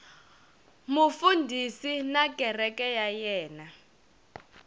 mufundhisi na kereke ya yena